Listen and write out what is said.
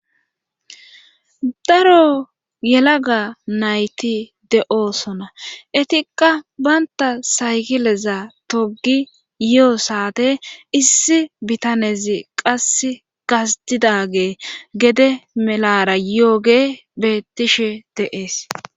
Daro yelaga nayti de7oosona etikka baynta saygileza togi yi7o saate issi bitanezi qas gasdidage gede melara yooge bettishe deees